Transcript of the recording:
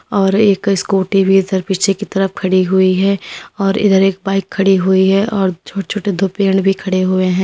और एक स्कूटी भी इधर पीछे की तरफ खड़ी हुई है और इधर एक बाइक खड़ी हुई है और छोटे छोटे दो पेड़ भी खड़े हुए हैं।